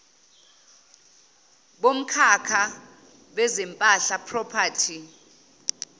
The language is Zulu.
bomkhakha wezempahla property